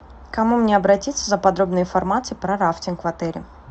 к кому мне обратиться за подробной информацией про рафтинг в отеле